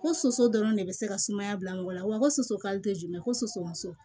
Ko soso dɔrɔn de bɛ se ka sumaya bila mɔgɔ la wa ko soso kalite jumɛn ko soso muso